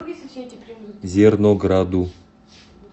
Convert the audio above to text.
зернограду